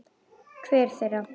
Hver þeirra?